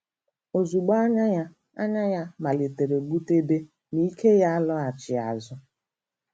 Ozugbo, "anya ya "anya ya malitere gbutebe, ma ike ya alọghachi azụ.